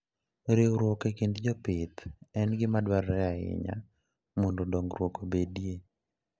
Riwruok e kind jopith en gima dwarore ahinya mondo dongruok obedie.